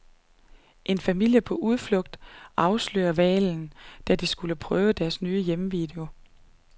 En familie på udflugt afslørede hvalen, da de skulle prøve deres nye hjemmevideo.